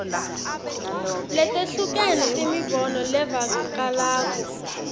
letehlukene temibono levakalako